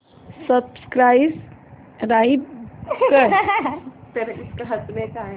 subscribe कर